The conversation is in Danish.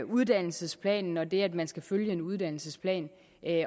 uddannelsesplanen og det at man skal følge en uddannelsesplan